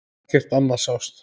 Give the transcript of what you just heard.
Ekkert annað sást.